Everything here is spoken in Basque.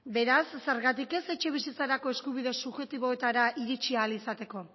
beraz zergatik ez etxebizitzarako eskubide subjektiboetara iritsi ahal izateko